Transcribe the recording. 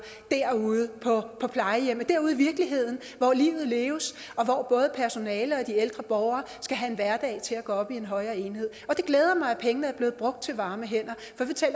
derude på plejehjemmene derude i virkeligheden hvor livet leves og hvor både personalet og de ældre borgere skal have en hverdag til at gå op i en højere enhed det glæder mig at pengene er blevet brugt til varme hænder